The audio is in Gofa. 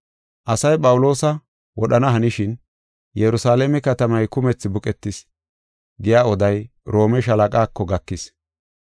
Asay Phawuloosa wodhana hanishin, “Yerusalaame katamay kumethi buqetis” giya oday Roome shaalaqaako gakis.